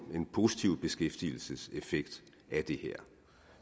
positiv beskæftigelseseffekt af det her